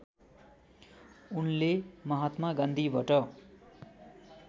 उनले महात्मा गान्धीबाट